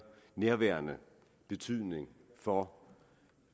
nærværende betydning for